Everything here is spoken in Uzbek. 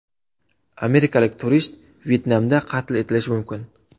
Amerikalik turist Vyetnamda qatl etilishi mumkin.